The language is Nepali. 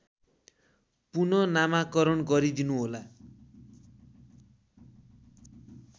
पुनःनामाकरण गरिदिनुहोला